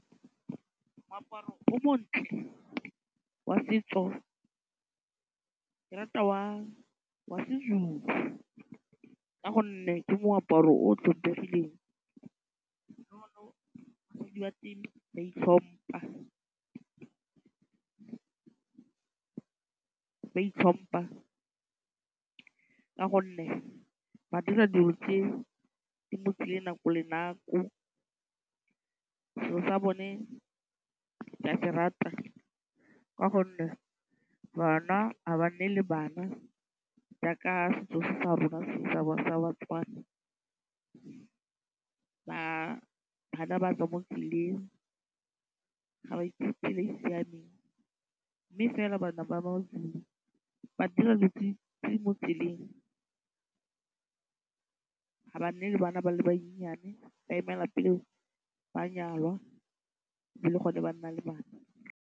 Moaparo wa setso ke rata wa seZulu ka gonne ke moaparo o tlhompegileng ba itlhompha ka gonne ba dira dilo tse di nako le nako, setso sa bone ke a se rata ka gonne bana ga ba nne le bana jaaka setso se sa rona sa rona sa baTswana, bana ba tswa mo tseleng ga ba itse tsela e e siameng mme fela bana ba ba maZulu ba dira tse di mo tseleng ga ba nne le bana ba le bannyane ba emela pele ba nyalwa be le gone ba nnang le bana.